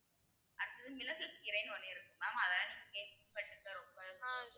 அடுத்தது மிளகுக்கீரைன்னு ஒண்ணு இருக்கு mam அதை எல்லாம் நீங்க கேள்விபட்டுருக்க